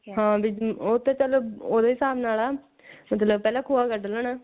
ਹਾਂ ਵੀ ਉਹ ਤਾਂ ਚੱਲ ਉਹਦੇ ਹਿਸਾਬ ਨਾਲ ਆ ਮਤਲਬ ਪਹਿਲਾਂ ਖੋਆ ਕੱਢ ਲੇਣਾ ਐ